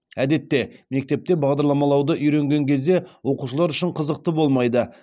әдетте мектепте бағдарламалауды үйренген кезде оқушылар үшін қызықты болмайды